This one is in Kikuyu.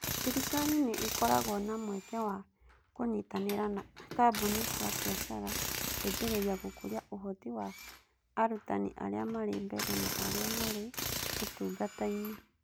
Thirikari nĩ ĩkoragwo na mweke wa kũnyitanĩra na kambuni cia biacara gũteithĩrĩria gũkũria ũhoti wa arutani arĩa marĩ mbere na arĩa marĩ ũtungata-inĩ.